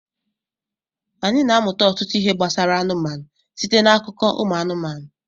anyị na-amụta ọtụtụ ihe gbasara anụmanụ site n'akụkọ ụmụ anụmanụ